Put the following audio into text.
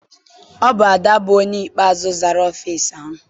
Ọ bụ Ada bụ onye ikpeazụ zara ọfịịsi ahụ.